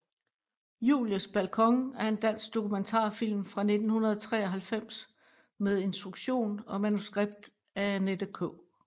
Julies balkon er en dansk dokumentarfilm fra 1993 med instruktion og manuskript af Annette K